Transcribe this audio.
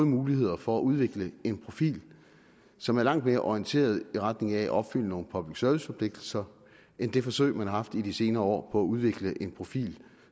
muligheder for at udvikle en profil som er langt mere orienteret i retning af at opfylde nogle public service forpligtelser end det forsøg man har haft i de senere år på at udvikle en profil